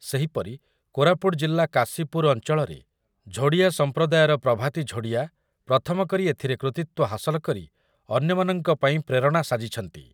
ସେହିପରି କୋରାପୁଟ୍ ଜିଲ୍ଲା କାଶୀପୁର ଅଞ୍ଚଳରେଝୋଡ଼ିଆ ସମ୍ପ୍ରଦାୟର ପ୍ରଭାତୀ ଝୋଡ଼ିଆ ପ୍ରଥମ କରି ଏଥିରେ କୃତୀତ୍ୱ ହାସଲ କରି ଅନ୍ୟମାନଙ୍କ ପାଇଁ ପ୍ରେରଣା ସାଜିଛନ୍ତି ।